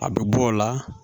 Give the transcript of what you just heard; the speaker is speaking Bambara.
A bɛ bɔ o la